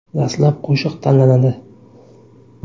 Dastlab qo‘shiq tanlanadi.